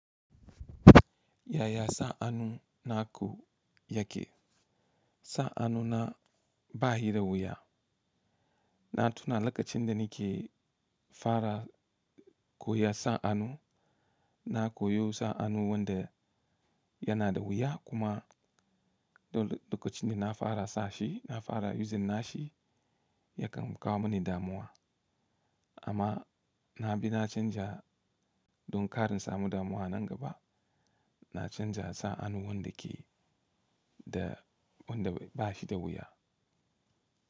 Yaya sa'annu na ku yake? Sa'annu na ba shi da wuya. Na tuna lokacin da ni ke fara koyar sa'annu, na koyo sa'annu wanda yana da wuya kuma dole lokacin da na fara sa shi, na fara using nashi, yakan kawo mini damuwa. Amma na bi na canja don karna samu damuwa nan gaba. Na canja sa'annu wanda ke da wanda ba shi da wuya.